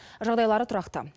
жағдайлары тұрақты